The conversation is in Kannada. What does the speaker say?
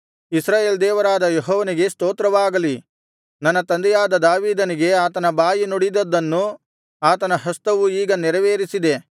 ಇಸ್ರಾಯೇಲ್ ದೇವರಾದ ಯೆಹೋವನಿಗೆ ಸ್ತೋತ್ರವಾಗಲಿ ನನ್ನ ತಂದೆಯಾದ ದಾವೀದನಿಗೆ ಆತನ ಬಾಯಿ ನುಡಿದಿದ್ದನ್ನು ಆತನ ಹಸ್ತವು ಈಗ ನೆರವೇರಿಸಿದೆ